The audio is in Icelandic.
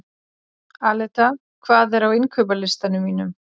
Aleta, hvað er á innkaupalistanum mínum?